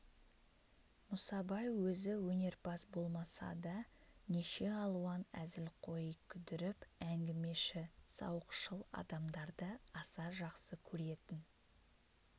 мұсабай өзі өнерпаз болмаса да неше алуан әзілқои күдіріп әңгімеші сауықшыл адамдарды аса жақсы көретін